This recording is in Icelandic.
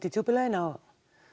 í djúpu laugina og